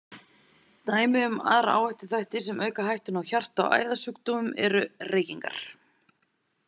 Dæmi um aðra áhættuþætti sem auka hættuna á hjarta- og æðasjúkdómum eru: Reykingar.